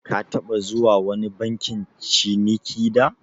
Ka taɓa zuwa wani bankin ciniki da?